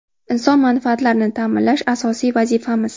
Inson manfaatlarini ta’minlash – asosiy vazifamiz!